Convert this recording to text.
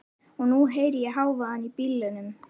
Og nú heyri ég hávaðann í bílunum.